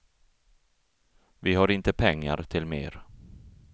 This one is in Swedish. Vi har inte pengar till mer.